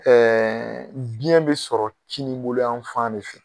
biyɛn be sɔrɔ kininboloyan fan de fɛ.